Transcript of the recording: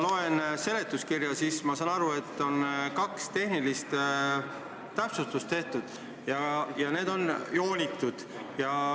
Kui ma seletuskirja loen, siis saan aru, et tehtud on kaks tehnilist täpsustust ja need on alla joonitud.